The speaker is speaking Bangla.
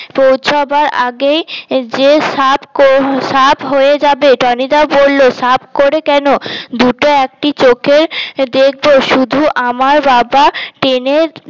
পৌছবার আগেই যে সাফ কর সাফ হয়ে যাবে টনিদা বলল সাফ করে কেনো দুটো একটি চোখে দেখব শুধু আমার বাবা ট্রেনের